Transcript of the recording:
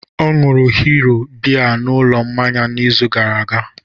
Ọ ṅụụrụ Hero biya n'ụlọ mmanya n'izu gara aga